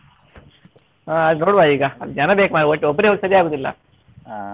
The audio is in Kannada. ಹಾ ನೋಡುವ ಈಗ ಜನ ಬೇಕು ಮಾರ್ರೆ ಒ~ ಒಬ್ರೆ ಹೋಗಕ್ಕೆ ಸರಿಯಾಗುದಿಲ್ಲ.